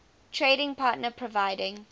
trading partner providing